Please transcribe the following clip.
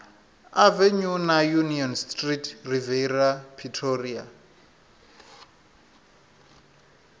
avenue na union street riviera pretoria